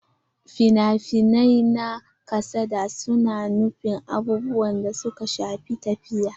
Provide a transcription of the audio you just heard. Fina-finai na kasada su na nuna abubuwan da suka shafi tafiya.